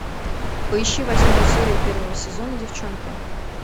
поищи восьмую серию первого сезона девчонки